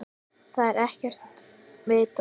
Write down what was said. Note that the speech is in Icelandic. Það er ekkert vitað.